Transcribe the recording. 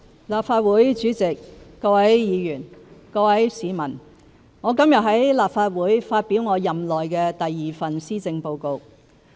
立法會主席、各位議員、各位市民，我今天在立法會發表我任內第二份施政報告。